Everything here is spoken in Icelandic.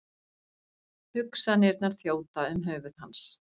Hugsanirnar þjóta um höfuð hans.